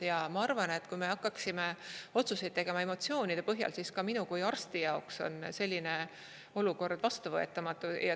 Ja ma arvan, et kui me hakkaksime otsuseid tegema emotsioonide põhjal, siis ka minu kui arsti jaoks on selline olukord vastuvõetamatu.